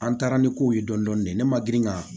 An taara ni kow ye dɔɔnin dɔɔnin de ne ma girin ka